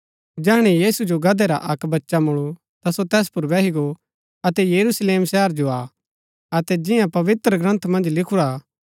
जैहणै यीशु जो गदहै रा अक्क बच्चा मुलू ता सो तैस पुर बैही गो अतै यरूशलेम शहरा जो आ अतै जिंआ पवित्रग्रन्थ मन्ज लिखूरा हा